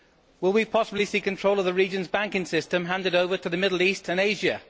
Will we possibly see control of the region's banking system handed over to the Middle East and Asia?